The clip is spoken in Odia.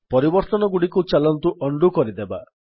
ପରିବର୍ତ୍ତନଗୁଡିକୁ ଚାଲନ୍ତୁ ଉଣ୍ଡୋ କରିଦେବା